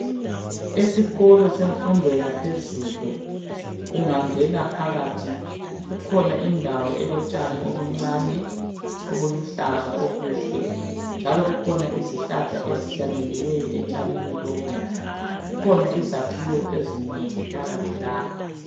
Esikolo semfundo yaphezulu, ungangena phakathi kukhona indawo elotshani obuncane obuluhlaza obuhle. Njalo kukhona izihlahla ezihlanyeliweyo etshanini lobu. Kukhona izakhiwo ezinengi phakathi lapha.